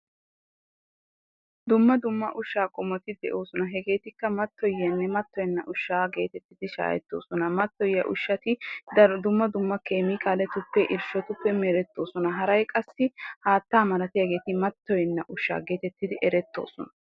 Dumma dumma ushshaa qommoti de'oosona. Hegeetikka mattoyiyanne nattoyenna ushshaa geetettidi shaahettoosona. Mattoyiya ushshati daro dumma dumma keemiikaaletuppe irshshotuppe merettoosona. Haray qassi haattaa malatiyageeti mattoyenna ushshaa geetettidi erettoosona.